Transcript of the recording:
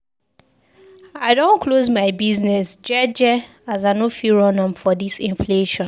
I don close my business jeje as I no fit run am for dis inflation.